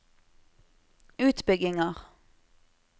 utbygginger